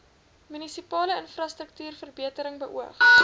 munisipale infrastruktuurverbetering beoog